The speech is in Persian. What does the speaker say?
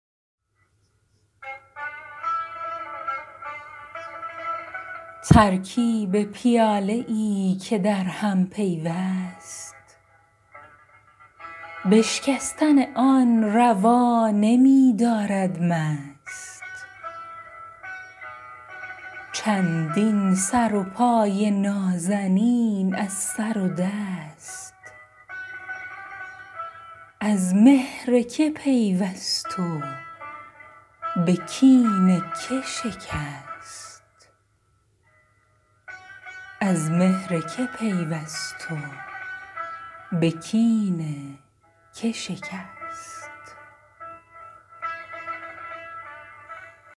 ترکیب پیاله ای که در هم پیوست بشکستن آن روا نمی دارد مست چندین سر و پای نازنین از سر دست از مهر که پیوست و به کین که شکست